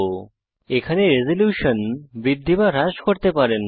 এখানে resolution resolution বৃদ্ধি বা হ্রাস করতে পারেন